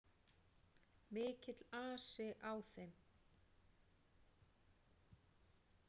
Mikill asi á þeim.